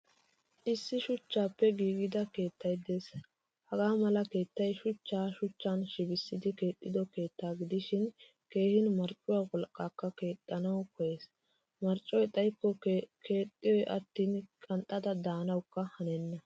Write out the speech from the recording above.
Issi shuchchappe giigida keettay de'ees. Hagaa mala keettay shuchcha shuchchan shibbisidi keexido keetta gidishin keehin marccuwaa wolqqakka keexxanawu koyees. Marccoy xayikko keexiyoy attin qanxxada de'anawukka hanenna.